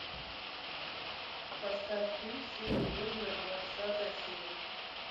поставь фильм синее озеро двадцатая серия